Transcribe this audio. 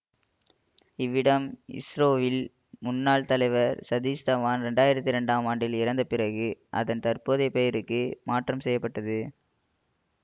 இவ்விடம் இஸ்ரோவின் முன்னாள் தலைவர் சதீஷ் தவான் இரண்டாயிரத்தி இரண்டாம் ஆண்டில் இறந்த பிறகு அதன் தற்போதைய பெயருக்கு மாற்றம் செய்ய பட்டது